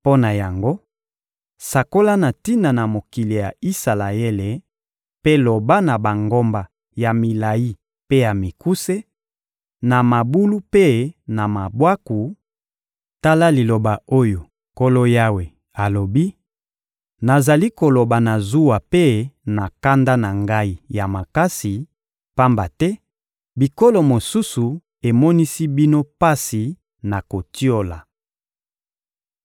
Mpo na yango, sakola na tina na mokili ya Isalaele mpe loba na bangomba ya milayi mpe ya mikuse, na mabulu mpe na mabwaku: ‹Tala liloba oyo Nkolo Yawe alobi: Nazali koloba na zuwa mpe na kanda na Ngai ya makasi, pamba te bikolo mosusu emonisi bino pasi na kotiola.